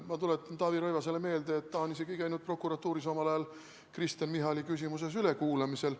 Ma tuletan Taavi Rõivasele meelde, et ta on isegi käinud prokuratuuris omal ajal Kristen Michali küsimuses ülekuulamisel.